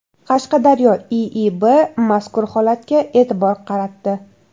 Qashqadaryo IIB mazkur holatga e’tibor qaratdi .